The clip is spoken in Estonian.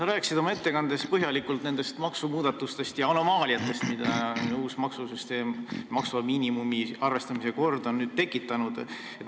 Sa rääkisid oma ettekandes põhjalikult nendest maksumuudatustest ja anomaaliatest, mida uus maksusüsteem maksuvaba miinimumi arvestamise korda on tekitanud.